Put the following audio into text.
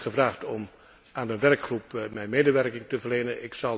Ik ben gevraagd om aan de werkgroep mijn medewerking te verlenen.